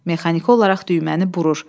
Mexaniki olaraq düyməni burur.